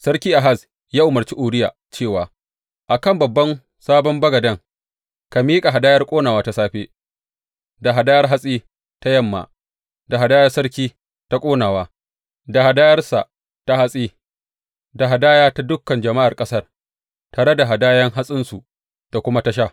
Sarkin Ahaz ya umarci Uriya cewa, A kan babban sabon bagade, ka miƙa hadayar ƙonawa ta safe, da hadayar hatsi ta yamma, da hadayar sarki ta ƙonawa da hadayarsa ta hatsi, da hadaya ta dukan jama’ar ƙasar, tare da hadayan hatsinsu da kuma ta sha.